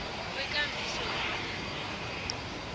kwekambiso yamalimi amanengi